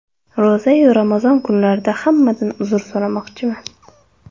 Ro‘za-yu Ramazon kunlarida hammadan uzr so‘ramoqchiman.